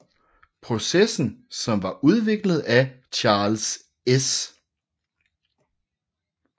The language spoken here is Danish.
Processen som var udviklet af Charles S